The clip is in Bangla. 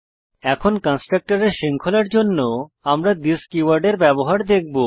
এখন কন্সট্রকটরের শৃঙ্খলার জন্য আমরা থিস কীওয়ার্ডের ব্যবহার দেখব